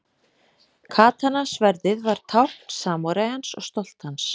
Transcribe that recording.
Katana-sverðið var tákn samúræjans og stolt hans.